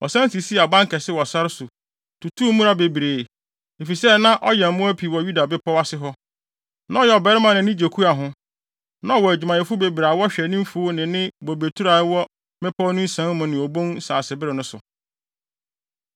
Ɔsan sisii abankɛse wɔ sare so, tutuu mmura bebree, efisɛ na ɔyɛn mmoa pii wɔ Yuda bepɔw ase hɔ. Na ɔyɛ ɔbarima a nʼani gye kua ho. Na ɔwɔ adwumayɛfo bebree a wɔhwɛ ne mfuw ne ne bobeturo a ɛwɔ mmepɔw no nsian mu ne obon nsasebere no so.